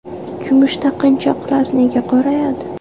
Kumush taqinchoqlar nega qorayadi?.